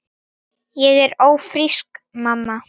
Ég er ófrísk, mamma!